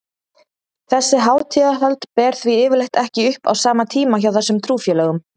Þessi hátíðahöld ber því yfirleitt ekki upp á sama tíma hjá þessum trúfélögum.